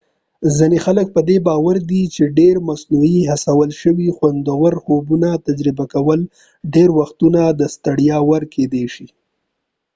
ځینې خلک پدې باور دي چې ډیری مصنوعي هڅول شوي خوندور خوبونه تجربه کول ډیری وختونه د ستړیا وړ کیدی شي